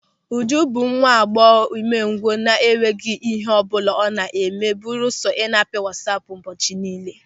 Ụjụ bụ nwa agbọghọ ụmengwụ na-enweghị ịhe ọbụla ọ na-eme belusọ ị na-apị wasaapu ụbọchị niile.